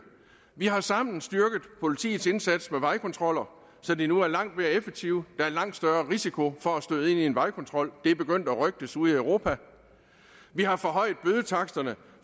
vi har sammen styrket politiets indsats med vejkontroller så de nu er langt mere effektive der er en lang større risiko for at støde ind i en vejkontrol og det er begyndt at rygtes ude i europa vi har forhøjet bødetaksterne